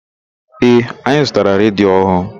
Ee, anyị zụtara redio ọhụụ.